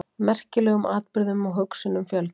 Merkilegum atburðum og hugsunum fjölgar.